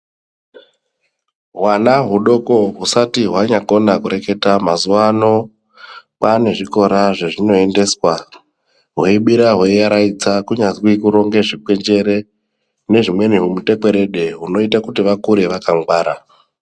Hwana hudoko husati hwanyagona kureketa mazuvano pane zvikora zvazvinoendeswa hweibira hweivaraidza kunyazwi kuronge zvingwenjere nehumweni hutekwerede hunoita kuti vakure vakangwara.